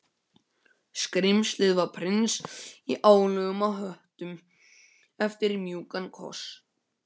Skrímslið var prins í álögum á höttum eftir mjúkum kossi.